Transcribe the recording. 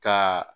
Ka